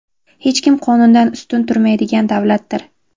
hech kim qonundan ustun turmaydigan davlatdir.